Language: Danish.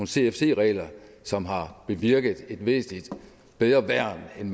cfc regler som har bevirket et væsentlig bedre værn end